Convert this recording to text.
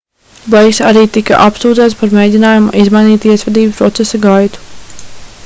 bleiks arī tika apsūdzēts par mēģinājumu izmainīt tiesvedības procesa gaitu